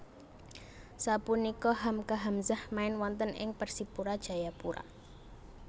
Sapunika Hamka Hamzah main wonten ing Persipura Jayapura